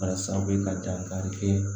Walasa bɛ ka dankari kɛ